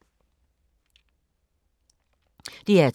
DR2